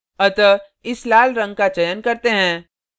अतः इस लाल रंग का चयन करते हैं